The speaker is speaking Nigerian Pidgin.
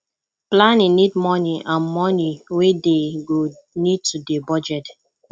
planning need moni and moni wey dey go need to dey budget